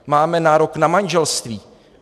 Máme nárok na manželství.